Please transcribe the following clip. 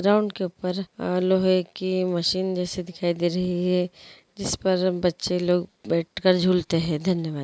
Ground के ऊपर लोहे की मशीन जैसी दिखाई दे ही हैं। जिस पर बच्चे लोग बैठकर झूलते हैं। धन्यवाद।